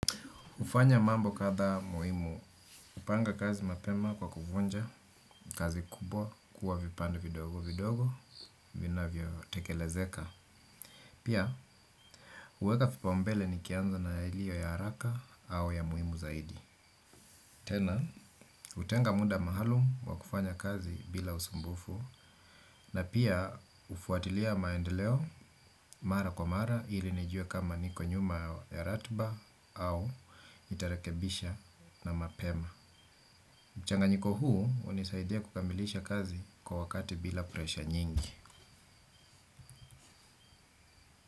Hufanya mambo kadha muhimu, kupanga kazi mapema kwa kuvunja, kazi kubwa, kuwa vipande vidogo vidogo, vinavyo tekelezeka. Pia, huweka vipaumbele nikianza na ilio ya haraka au ya muhimu zaidi. Tena, hutenga muda maalum wa kufanya kazi bila usumbufu na pia hufuatilia maendeleo mara kwa mara ili nijue kama niko nyuma ya ratba au itarekebisha na mapema. Mchanganyiko huu hunisaidia kukamilisha kazi kwa wakati bila presha nyingi.